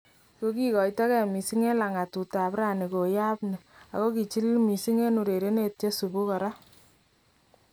Kokikoitekei missing en langatut ab raani koyaab ni , ako kichilili missing en urerenet chesubuu koraa